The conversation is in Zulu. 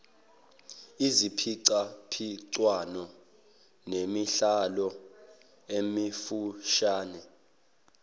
iziphicaphicwano nemidlalo emifushane